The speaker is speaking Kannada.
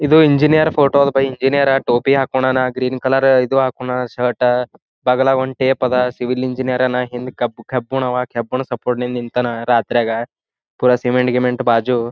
ಇದು ಇಂಜಿನಿಯರ್ ಫೋಟೋ ಅದಾ ಭಯ್ ಎಂಜೀನೀರ್ ಟೋಪಿ ಹಾಕೊಂಡನ ಗ್ರೀನ್ ಕಲರ್ ಇದು ಹಾಕೊಂಡನ ಶರ್ಟ್ ಬಗಾಲಾಲ್ ಒಂದ್ ಟೇಪ್ ಅದ ಸಿವಿಲ್ ಇಂಜಿನಿಯರ್ ಹಿಂದ್ ಕಬ್ ಕಬ್ಬಿಣ ‌ಅವಾ ಕಬ್ಬಣ ಸಪೋರ್ಟ್ಟ್ಲೆ ನಿಂತನ ರಾತ್ರ್ಯಾಗ ಪುರ ಸಿಮೆಂಟ್ ಗಿಮೆಂಟ ಬಾಜು.